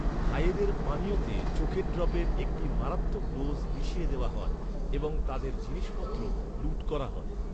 ভাইদের পানীয়তে চোখের ড্রপের একটি মারাত্মক ডোজ মিশিয়ে দেওয়া হয় এবং তাঁদের জিনিসপত্র লুট করা হয়।